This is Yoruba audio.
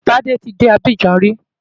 Ǹjẹ́ Tádé ti dé Abidjan rí?